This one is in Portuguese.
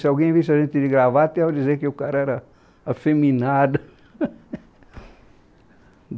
Se alguém visse a gente de gravata, ia dizer que o cara era afeminado.